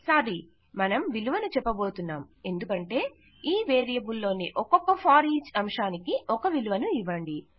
sorry మనం విలువను చెప్పబోతున్నాం ఎందుకంటే ఈ వేరియబుల్ లోని ఒక్కొక్క ఫోరిచ్ అంశానికి ఒక విలువను వ్రాయండి